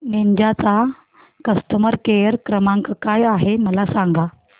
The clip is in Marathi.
निंजा चा कस्टमर केअर क्रमांक काय आहे मला सांगा